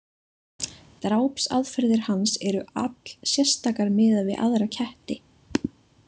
Drápsaðferðir hans eru allsérstakar miðað við aðra ketti.